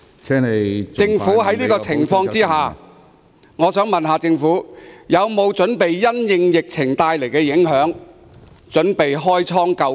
在這種情況下，政府有否準備因應疫情造成的影響開倉救貧。